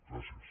gràcies